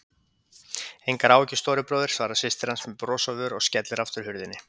Engar áhyggjur, stóri bróðir, svarar systir hans með bros á vör og skellir aftur hurðinni.